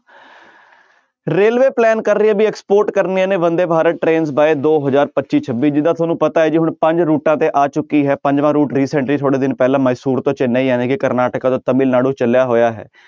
Railway plan ਕਰ ਰਹੀ ਹੈ ਵੀ export ਕਰਨੇ ਨੇ ਬੰਦੇ ਭਾਰਤ train ਬਾਏ ਦੋ ਹਜ਼ਾਰ ਪੱਚੀ ਛੱਬੀ ਜਿੱਦਾਂ ਤੁਹਾਨੂੰ ਪਤਾ ਹੈ ਪੰਜ ਰੂਟਾਂ ਤੇ ਆ ਚੁੱਕੀ ਹੈ ਪੰਜਵਾਂ route recently ਥੋੜ੍ਹੇ ਦਿਨ ਪਹਿਲਾਂ ਮਸੂਰਤ ਚੇਨੰਈ ਜਾਣੀ ਕਿ ਕਰਨਾਟਕ ਤੋਂ ਤਾਮਿਲਨਾਡੂ ਚੱਲਿਆ ਹੋਇਆ ਹੈ।